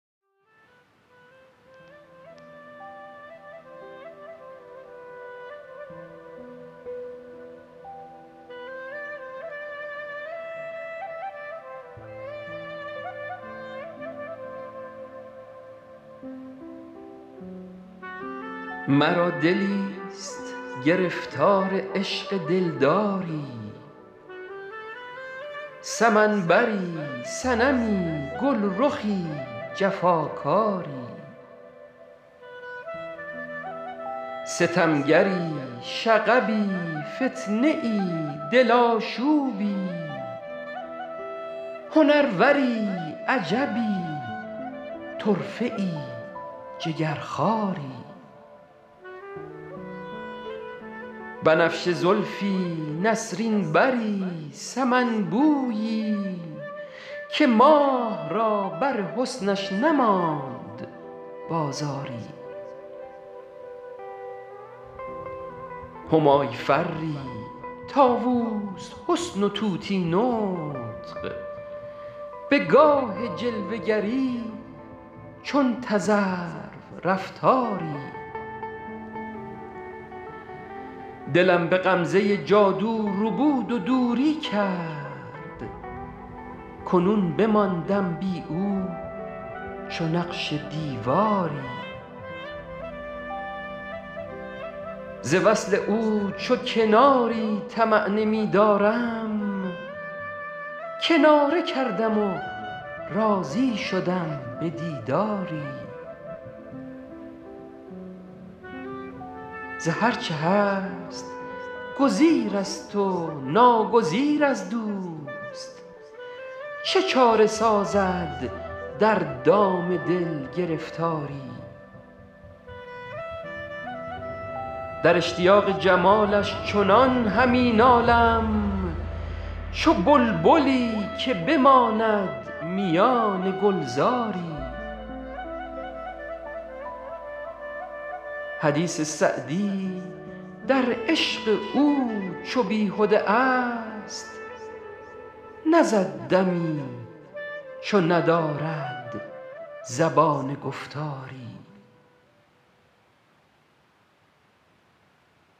مرا دلیست گرفتار عشق دلداری سمن بری صنمی گلرخی جفاکاری ستمگری شغبی فتنه ای دل آشوبی هنروری عجبی طرفه ای جگرخواری بنفشه زلفی نسرین بری سمن بویی که ماه را بر حسنش نماند بازاری همای فری طاووس حسن و طوطی نطق به گاه جلوه گری چون تذرو رفتاری دلم به غمزه جادو ربود و دوری کرد کنون بماندم بی او چو نقش دیواری ز وصل او چو کناری طمع نمی دارم کناره کردم و راضی شدم به دیداری ز هر چه هست گزیر است و ناگزیر از دوست چه چاره سازد در دام دل گرفتاری در اشتیاق جمالش چنان همی نالم چو بلبلی که بماند میان گلزاری حدیث سعدی در عشق او چو بیهده ا ست نزد دمی چو ندارد زبان گفتاری